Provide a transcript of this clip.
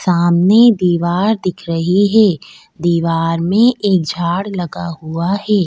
सामने दीवार दिख रही है दीवार में एक झाड़ लगा हुआ है।